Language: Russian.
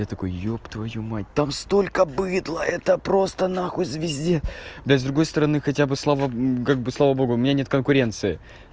я такой ёб твою мать там столько быдла это просто нахуй звезде да и с другой стороны хотя бы слава как бы слава богу у меня нет конкуренции